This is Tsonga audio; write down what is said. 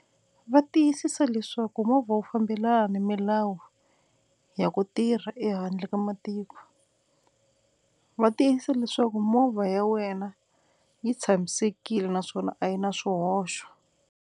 Va tiyisisa leswaku movha wu fambelana ni milawu ya ku tirha ehandle ka matiko, va tiyisa leswaku movha ya wena yi tshamisekile naswona a yi na swihoxo.